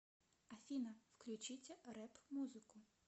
афина включите рэп музыку